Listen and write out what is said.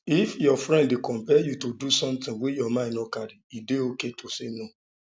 if your friend dey compel you to do something wey your mind no carry e dey okay to say no